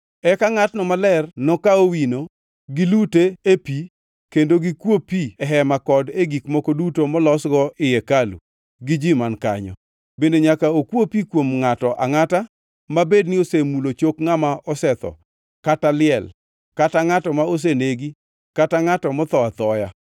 Eka ngʼatno maler nokaw owino, gilute e pi kendo gikuo pi e hema kod e gik moko duto molosgo ii hekalu gi ji man kanyo. Bende nyaka okwo pi kuom ngʼato angʼata mabed ni osemulo chok ngʼama osetho kata liel kata ngʼato ma osenegi kata ngʼato motho athoya.